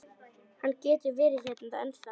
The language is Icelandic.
Hann getur verið hérna ennþá.